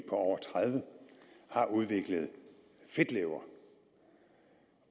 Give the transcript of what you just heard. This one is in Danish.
over tredive har udviklet fedtlever